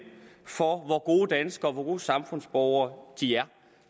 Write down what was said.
for hvor gode danskere og hvor gode samfundsborgere de er